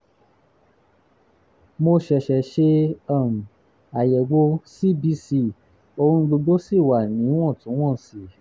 mo ṣẹ̀ṣẹ̀ ṣe um àyẹ̀wò cbc ohun gbogbo sì wà níwọ̀ntúnwọ̀nsì